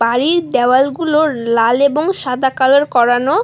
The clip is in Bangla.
বাড়ির দেওয়ালগুলো লাল এবং সাদা কালার করানো।